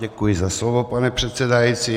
Děkuji za slovo, pane předsedající.